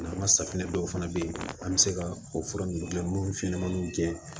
N'an ka safinɛ dɔw fana be yen an mi se ka o fura nunnu gilan n'olu fɛnɲɛnamaninw gɛn